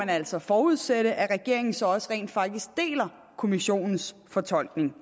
altså forudsættes at regeringen så også rent faktisk deler kommissionens fortolkning